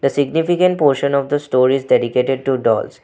Significant portion of the storage dedicated to dolls.